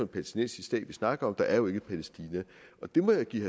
palæstinensisk stat vi snakker om der er jo ikke et palæstina det må jeg give